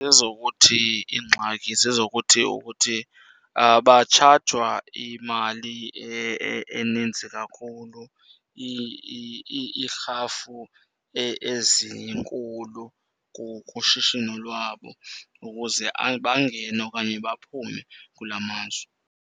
Ezokuthi iingxaki zezokuthi ukuthi batshajwa imali eninzi kakhulu, iirhafu ezinkulu kushishino lwabo ukuze bangene okanye baphume kulaa mazwe.